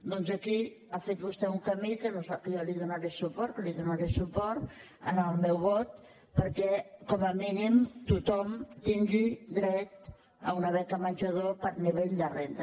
doncs aquí ha fet vostè un camí en què jo li donaré suport li donaré suport amb el meu vot perquè com a mínim tothom tingui dret a una beca menjador per nivell de renda